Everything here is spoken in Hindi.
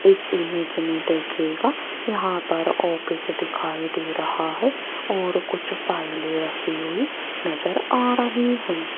इस इमेज में देखिएगा यहां पर ऑफिस दिखाई दे रहा है और कुछ फ़ाइलें रखी हुई नजर आ रही है।